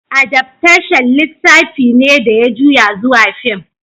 Adaftashan littafi ne da ya juya zuwa fim.